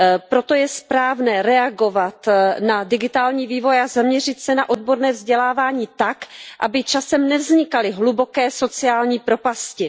Proto je správné reagovat na digitální vývoj a zaměřit se na odborné vzdělávání tak, aby časem nevznikaly hluboké sociální propasti.